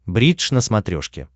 бридж на смотрешке